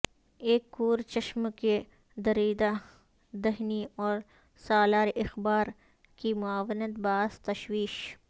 ایک کورچشم کی دریدہ دہنی اور سالار اخبار کی معاونت باعث تشویش